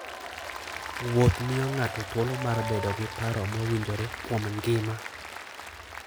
Wuoth miyo ng'ato thuolo mar bedo gi paro mowinjore kuom ngima.